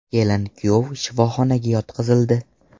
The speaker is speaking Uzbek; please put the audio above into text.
Kelin-kuyov shifoxonaga yotqizildi.